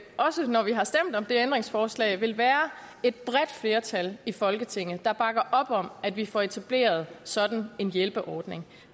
også når vi har stemt om det ændringsforslag så vil være et bredt flertal i folketinget der bakker op om at vi får etableret sådan en hjælpeordning